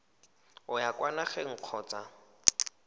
o ya kwa nageng kgotsa